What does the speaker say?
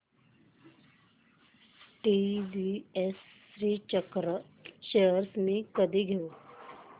TVS Shrichakra shares मी कधी घेऊ